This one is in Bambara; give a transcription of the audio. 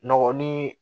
Nɔgɔ ni